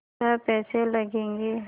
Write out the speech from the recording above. छः पैसे लगेंगे